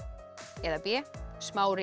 eða b